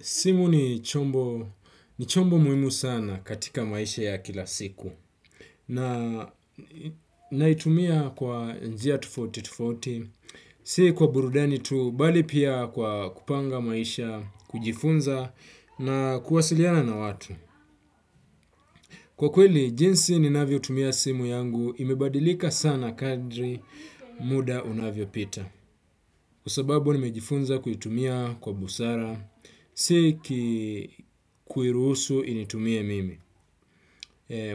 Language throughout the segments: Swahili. Simu ni chombo muhimu sana katika maisha ya kila siku naitumia kwa njia tofauti tofauti si kwa burudani tu bali pia kwa kupanga maisha kujifunza na kuwasiliana na watu. Kwa kweli, jinsi ninavyo tumia simu yangu imebadilika sana kadri muda unavyo pita. Kwa sababu, nimejifunza kuitumia kwa busara, sikuiruhusu initumie mimi.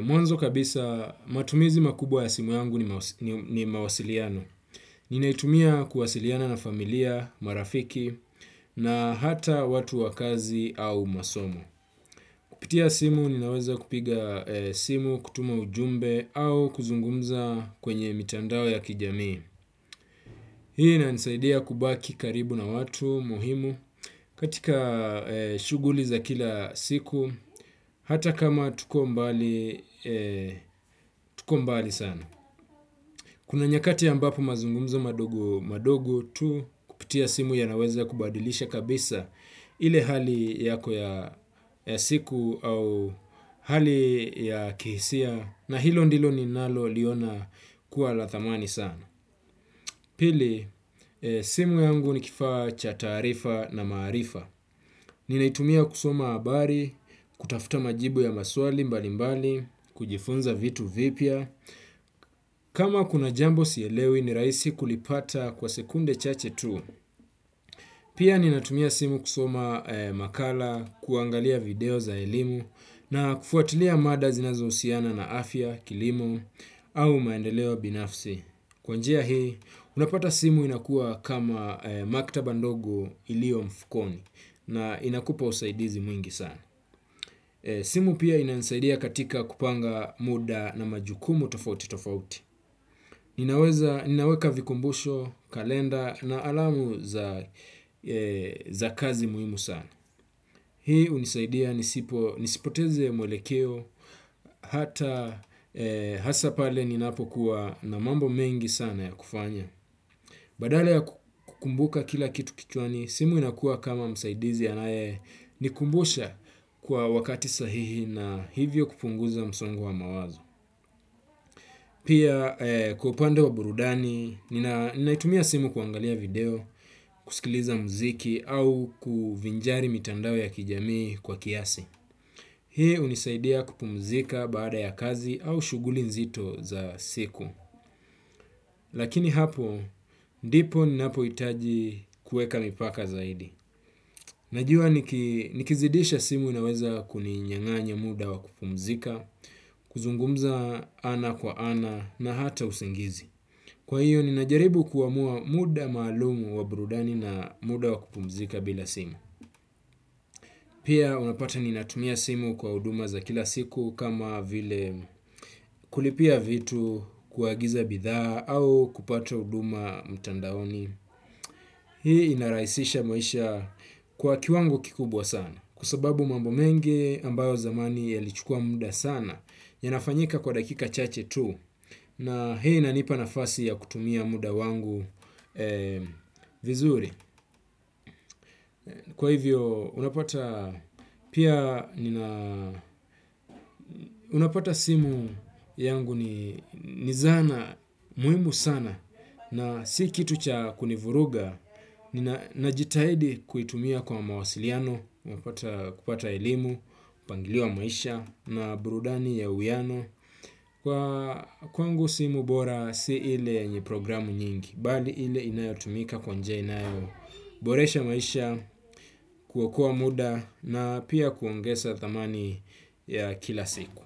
Mwanzo kabisa, matumizi makubwa ya simu yangu ni mawasiliano. Ninaitumia kuwasiliana na familia, marafiki, na hata watu wa kazi au masomo. Kupitia simu ninaweza kupiga simu kutuma ujumbe au kuzungumza kwenye mitandao ya kijamii. Hii inanisaidia kubaki karibu na watu muhimu katika shughuli za kila siku hata kama tuko mbali sana. Kuna nyakati ambapo mazungumzo madogo madogo tu kupitia simu ya naweza kubadilisha kabisa ile hali yako ya siku au hali ya kihisia na hilo ndilo ni nalo liona kuwa la thamani sana. Pili, simu yangu ni kifaa cha taarifa na maarifa. Ni naitumia kusoma habari, kutafuta majibu ya maswali mbali mbali, kujifunza vitu vipya. Kama kuna jambo sielewi ni rahisi kulipata kwa sekunde chache tu. Pia ni natumia simu kusoma makala, kuangalia video za elimu, na kufuatilia mada zinazo husiana na afya, kilimo, au maendeleo binafsi. Kwa njia hii unapata simu inakuwa kama maktaba ndogo iliyo mfukoni na inakupa usaidizi mwingi sana. Simu pia inanisaidia katika kupanga muda na majukumu tofauti tofauti. Ninaweza ninaweka vikumbusho, kalenda na alama za kazi muhimu sana. Hii hunisaidia nisipoteze mwelekeo hata hasa pale ninapo kuwa na mambo mengi sana ya kufanya. Badala ya kukumbuka kila kitu kichwani simu inakuwa kama msaidizi anayenikumbusha kwa wakati sahihi na hivyo kupunguza msongo wa mawazo. Pia kwa upande wa burudani naitumia simu kuangalia video kusikiliza muziki au kuvinjari mitandao ya kijamii kwa kiasi. Hii hunisaidia kupumzika baada ya kazi au shughuli nzito za siku. Lakini hapo, ndipo ninapohitaji kuweka mipaka zaidi. Najua nikizidisha simu inaweza kuninyanganya muda wa kupumzika, kuzungumza ana kwa ana na hata usingizi. Kwa hiyo, ninajaribu kuamua muda maalum wa burudani na muda wa kupumzika bila simu. Pia, unapata ninatumia simu kwa huduma za kila siku kama vile kulipia vitu, kuagiza bidhaa au kupata huduma mtandaoni. Hii inarahisisha maisha kwa kiwango kikubwa sana. Kwa sababu mambo mengi ambayo zamani yalichukua muda sana, ya nafanyika kwa dakika chache tu. Na hii ina nipa na fasi ya kutumia muda wangu vizuri. Kwa hivyo unapata unapata simu yangu ni zana muhimu sana. Na si kitu cha kunivuruga. Ninajitahidi kuitumia kwa mawasiliano. Unapata kupata elimu, kupangiliwa maisha na burudani ya uwiano. Kwa kwangu simu bora si ile yenye programu nyingi. Bali ile inayo tumika kwa njia inayo boresha maisha kuwa kuwa muda na pia kuangeza thamani ya kila siku.